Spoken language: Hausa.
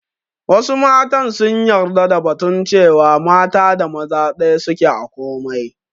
Wassu mata sun yara da batun cewa mata da maza ɗaya suke a komai